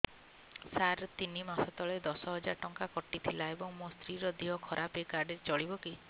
ସାର ତିନି ମାସ ତଳେ ଦଶ ହଜାର ଟଙ୍କା କଟି ଥିଲା ଏବେ ମୋ ସ୍ତ୍ରୀ ର ଦିହ ଖରାପ ଏ କାର୍ଡ ଚଳିବକି